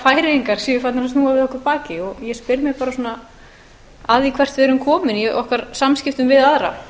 færeyingar séu farnir að snúa við okkur baki ég spyr mig svona að því hvert við erum komin í okkar samskiptum við aðra